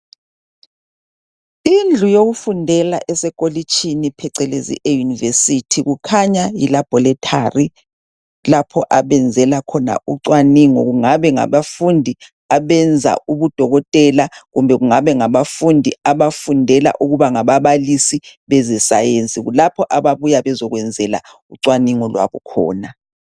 Indlu yokufundela esekolitshini phecelezi eyunivesithi kukhanya yilabholethari lapha abanzela khona ucwaningo kungaba ngabafundi abenza ubudokotela kumbe kungaba ngabafundi abafundela ukuba ngababalisi bezesayensi. Kulapho ababuya bezekwenzela ucwaningo lwabo khona.